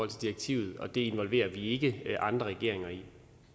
direktivet og det involverer vi ikke andre regeringer i